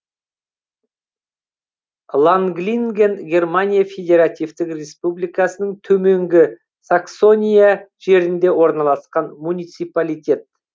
ланглинген германия федеративтік республикасының төменгі саксония жерінде орналасқан муниципалитет